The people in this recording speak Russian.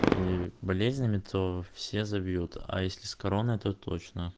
болезнями то все забьют а если с короной то точно